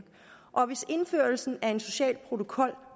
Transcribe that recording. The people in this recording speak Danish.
og hvis indførelsen af en social protokol